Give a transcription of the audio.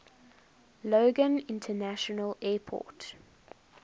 logan international airport